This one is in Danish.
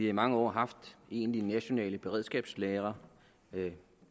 i mange år haft egentlige nationale beredskabslagre